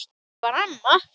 Þannig var amma.